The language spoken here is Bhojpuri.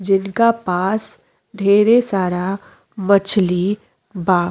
जिनका पास ढ़ेरे सारा मछली बा।